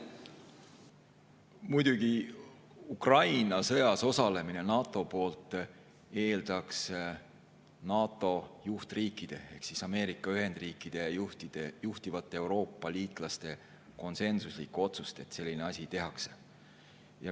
Muidugi, Ukraina sõjas osalemine NATO poolt eeldaks NATO juhtriikide ehk Ameerika Ühendriikide juhtide ja juhtivate Euroopa liitlaste konsensuslikku otsust, et sellist asja tehakse.